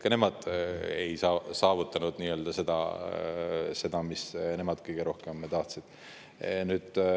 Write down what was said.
Ka nemad ei saavutanud seda, mida nemad kõige rohkem tahtsid.